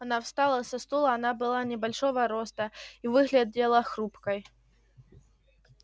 она встала со стула она была небольшого роста и выглядела хрупкой